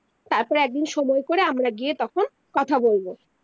তার পরে একদিন সময় করে আমরা গিয়ে তখন কথা বলবো